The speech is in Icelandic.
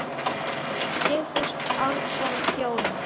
Sigfús Árnason þjónar.